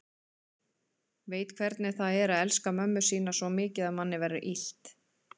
Veit hvernig það er að elska mömmu sína svo mikið að manni verður illt.